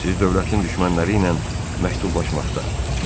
Siz dövlətin düşmənləri ilə məktublaşmaqda.